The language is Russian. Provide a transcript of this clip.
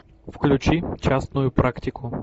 включи частную практику